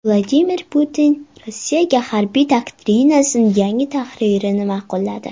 Vladimir Putin Rossiya harbiy doktrinasining yangi tahririni ma’qulladi.